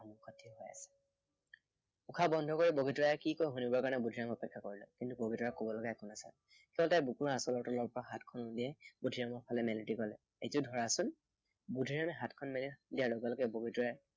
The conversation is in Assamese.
উশাহ বন্ধ কৰি বগীতৰাই কি কয় শুনিবৰ কাৰণে বুদ্ধিৰামে অপেক্ষা কৰিলে। কিন্তু বগীতৰাৰ কবলৈ একো নাই। তেতিয়াই তাই বুকুৰ আঁচলৰ পৰা হাতখন উলিয়াই বুদ্ধিৰামৰ ফালে মেলি দি কলে, এইটো ধৰাচোন। বুদ্ধিৰামে হাতখন মেলি দিয়াৰ লগে লগে বগীতৰাই